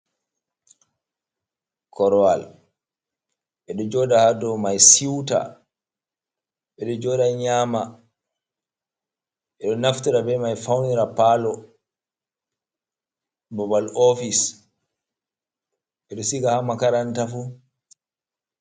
Korowal ɓe ɗo jooɗa haa dow mai siwta. Ɓe ɗo jooɗa nyaama, ɓe ɗo naftira bee mai fawnira paalo, babal oofis, ɓe ɗo siga haa makaranta fuu.